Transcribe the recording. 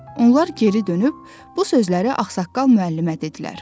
Onlar geri dönüb bu sözləri ağsaqqal müəllimə dedilər.